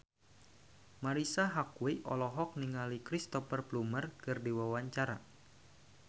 Marisa Haque olohok ningali Cristhoper Plumer keur diwawancara